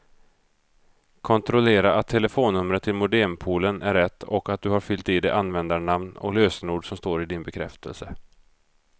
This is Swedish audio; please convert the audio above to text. Kontrollera att telefonnumret till modempoolen är rätt och att du har fyllt i det användarnamn och lösenord som står i din bekräftelse.